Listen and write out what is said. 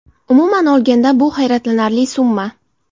Umuman olganda bu hayratlanarli summa.